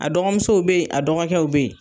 A dɔgɔmusow be ye, a dɔgɔkɛw be ye.